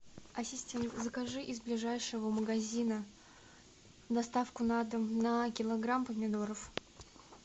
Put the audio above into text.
ассистент закажи из ближайшего магазина доставку на дом на килограмм помидоров